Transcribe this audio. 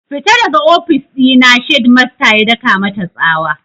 Fita daga ofis ɗina! shedmasta ya daka mata tsawa